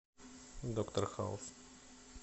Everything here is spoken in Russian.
доктор хаус